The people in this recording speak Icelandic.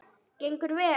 Gengur vel?